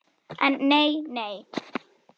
En nei nei.